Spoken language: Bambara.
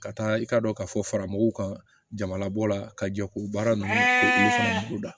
Ka taa i ka dɔ ka fɔ fara mɔgɔw ka jama labɔ la ka jɔ k'u baara ninnu da